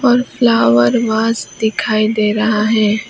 और flower vase दिखाई दे रहा है।